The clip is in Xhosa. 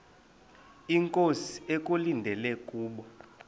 inkosi ekulindele kubo